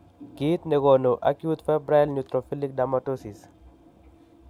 Kiit negonu acute febrile neutrophilic dermatosis